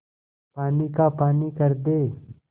पानी का पानी कर दे